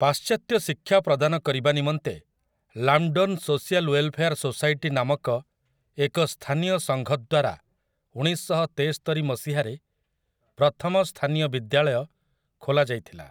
ପାଶ୍ଚାତ୍ୟ ଶିକ୍ଷା ପ୍ରଦାନ କରିବା ନିମନ୍ତେ 'ଲାମ୍‍ଡନ୍ ସୋଶିଆଲ୍ ୱେଲ୍‌ଫେୟାର୍ ସୋସାଇଟି' ନାମକ ଏକ ସ୍ଥାନୀୟ ସଙ୍ଘ ଦ୍ୱାରା ଉଣେଇଶ ଶହ ତେସ୍ତରି ମସିହାରେ ପ୍ରଥମ ସ୍ଥାନୀୟ ବିଦ୍ୟାଳୟ ଖୋଲା ଯାଇଥିଲା ।